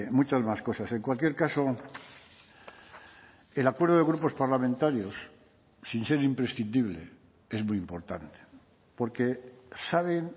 muchas más cosas en cualquier caso el acuerdo de grupos parlamentarios sin ser imprescindible es muy importante porque saben